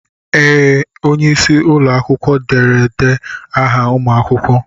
Ee! Onye isi ụlọ akwụkwọ derede aha ụmụ akwụkwọ.